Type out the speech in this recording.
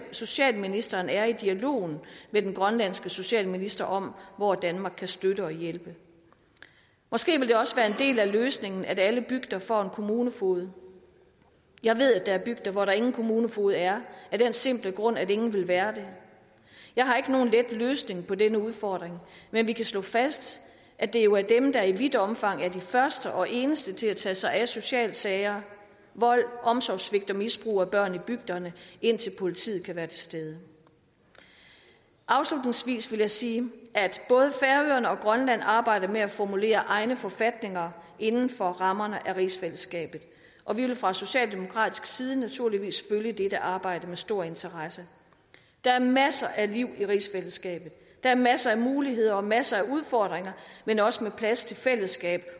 socialministeren er i dialogen med den grønlandske socialminister om hvor danmark kan støtte og hjælpe måske vil det også være en del af løsningen at alle bygder får en kommunefoged jeg ved at der er bygder hvor der ingen kommunefoged er af den simple grund at ingen vil være det jeg har ikke nogen let løsning på denne udfordring men vi kan slå fast at det jo er dem der i vidt omfang er de første og eneste til at tage sig af socialsager vold omsorgssvigt og misbrug af børn i bygderne indtil politiet kan være til stede afslutningsvis vil jeg sige at og grønland arbejder med at formulere egne forfatninger inden for rammerne af rigsfællesskabet og vi vil fra socialdemokratisk side naturligvis følge dette arbejde med stor interesse der er masser af liv i rigsfællesskabet der er masser af muligheder og masser af udfordringer men også plads til fællesskab